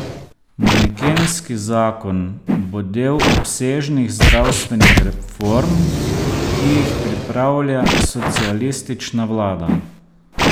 Manekenski zakon bo del obsežnih zdravstvenih reform, ki jih pripravlja socialistična vlada.